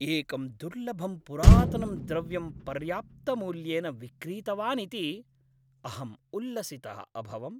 एकं दुर्लभं पुरातनं द्रव्यं पर्याप्तमूल्येन विक्रीतवानिति अहम् उल्लसितः अभवम्।